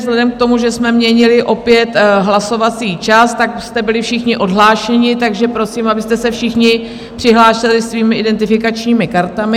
Vzhledem k tomu, že jsme měnili opět hlasovací čas, tak jste byli všichni odhlášeni, takže prosím, abyste se všichni přihlásili svými identifikačními kartami.